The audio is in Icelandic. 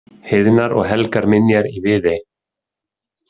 Heiðnar og helgar minjar í Viðey.